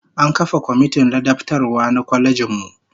An kafa komitin ladabtarwa na kwalejin mu